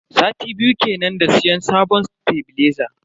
Sati biyu kenan da siyan sabon tebileza.